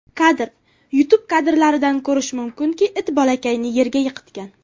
Kadr: YouTube Kadrlardan ko‘rish mumkinki, it bolakayni yerga yiqitgan.